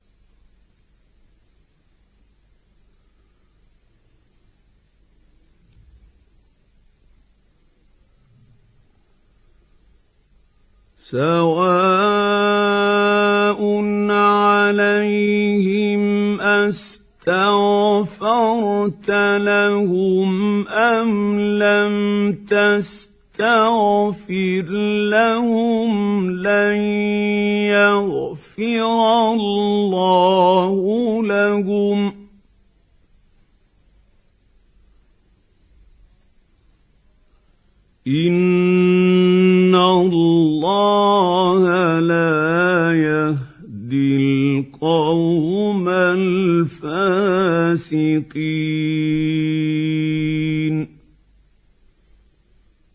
سَوَاءٌ عَلَيْهِمْ أَسْتَغْفَرْتَ لَهُمْ أَمْ لَمْ تَسْتَغْفِرْ لَهُمْ لَن يَغْفِرَ اللَّهُ لَهُمْ ۚ إِنَّ اللَّهَ لَا يَهْدِي الْقَوْمَ الْفَاسِقِينَ